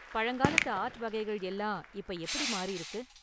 பழங்காலத்து ஆர்ட் வகைகள் எல்லாம் இப்ப எப்படி மாறிருக்கு?